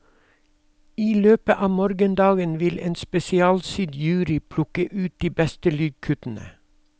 I løpet av morgendagen vil en spesialsydd jury plukke ut de beste lydkuttene.